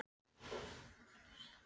Svipur hans var harður og stingandi.